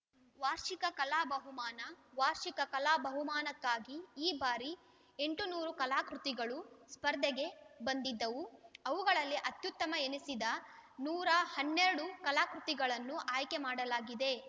ವಾರ್ಷಿಕ ಕಲಾ ಬಹುಮಾನ ವಾರ್ಷಿಕ ಕಲಾ ಬಹುಮಾನಕ್ಕಾಗಿ ಈ ಬಾರಿ ಎಂಟುನೂರು ಕಲಾಕೃತಿಗಳು ಸ್ಪರ್ಧೆಗೆ ಬಂದಿದ್ದವು ಅವುಗಳಲ್ಲಿ ಅತ್ಯುತ್ತಮ ಎನ್ನಿಸಿದ ನೂರ ಹನ್ನೆರಡು ಕಲಾಕೃತಿಗಳನ್ನು ಆಯ್ಕೆ ಮಾಡಲಾಗಿದೆ